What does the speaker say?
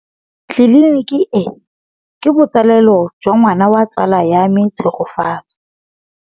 Tleliniki e, ke botsalêlô jwa ngwana wa tsala ya me Tshegofatso.